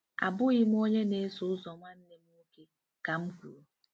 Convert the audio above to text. “Abụghị m onye na-eso ụzọ nwanne m nwoke,” ka m kwuru.